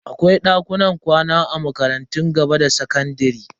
Akwai dakunan kwana a makarantun gaba da sakandare.